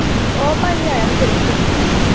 ਉਹ ਭਾਈ ਆਇਆ ਹੀ ਗਲੀ ਚ।